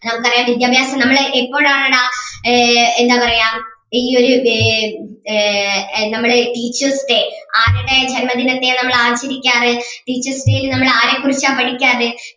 നമുക്ക് അറിയാം വിദ്യാഭ്യാസം നമ്മള് എപ്പോഴാണ് ആഹ് ഏർ എന്താ പറയ്യാ ഇനിയൊരു ഏർ ആഹ് നമ്മടെ teacher's day ആരുടെ ജന്മദിനത്തെയാ നമ്മൾ ആചരിക്കാറ് teacher's day ൽ നമ്മൾ ആരെ കുറിച്ചാ പഠിക്കാറ്